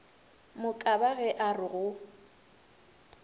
mokaba ge a re go